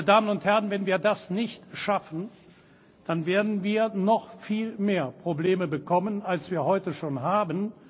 Meine Damen und Herren, wenn wir das nicht schaffen, dann werden wir noch viel mehr Probleme bekommen als wir heute schon haben.